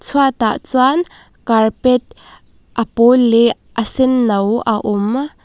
chhuat ah chuan carpet a pawl leh a senno a awm --